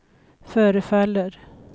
förefaller